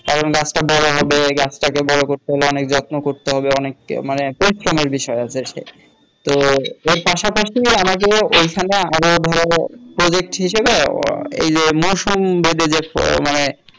কারন গাছটা বড় হবে গাছটাকে বড় করতে হলে অনেক যন্ত্র করতে হবে অনেক মানে পরিশ্রমের বিষয় আছে তো এর পাশাপাশি আমাদের ঐ খানে আরো ধরো project হিসেবে এই যে মৌসুম বেদি যে মানে